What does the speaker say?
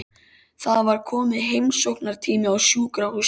Það var kominn heimsóknartími á sjúkrahúsinu.